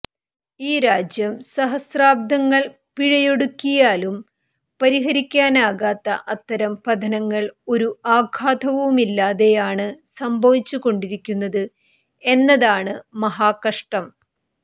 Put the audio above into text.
ഈ രാജ്യം സഹസ്രാബ്ദങ്ങൾ പിഴയൊടുക്കിയാലും പരിഹരിക്കാനാകാത്ത അത്തരം പതനങ്ങൾ ഒരു ആഘാതവുമില്ലാതെയാണ് സംഭവിച്ചു കൊണ്ടിരിക്കുന്നത് എന്നതാണ് മഹാകഷ്ടം